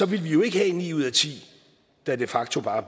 ville vi jo ikke have ni ud af ti der de facto bare